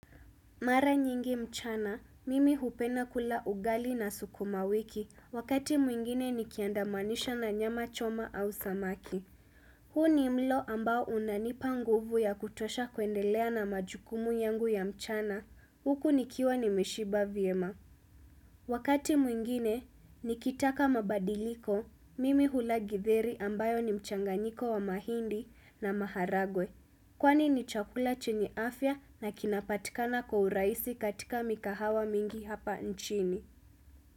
Mara nyingi mchana, mimi hupenda kula ugali na sukuma wiki, wakati mwingine nikiandamanisha na nyama choma au samaki. Huu ni mlo ambao unanipa nguvu ya kutosha kuendelea na majukumu yangu ya mchana, huku nikiwa nimeshiba vyema. Wakati mwingine, nikitaka mabadiliko, mimi hula githeri ambayo ni mchanganiko wa mahindi na maharagwe. Kwani ni chakula chenye afya na kinapatikana kwa uragisi katika mikahawa mingi hapa nchini.